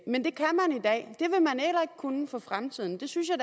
kunne for fremtiden det synes jeg